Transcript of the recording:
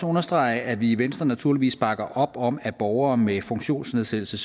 understrege at vi i venstre naturligvis bakker op om at borgere med funktionsnedsættelse